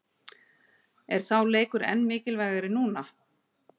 Er sá leikur enn mikilvægari núna?